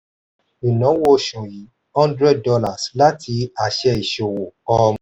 ìnáwó oṣù yìí hundred dollars láti àṣẹ ìṣòwò um